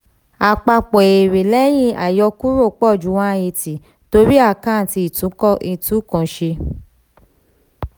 àpapọ̀ èrè lẹ́yìn àyọkúrò pọ̀ ju one eighty torí àkáǹtì ìtúnkọ́ ìtúnkanṣe.